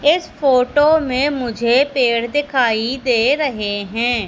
इस फोटो में मुझे पेड़ दिखाई दे रहे हैं।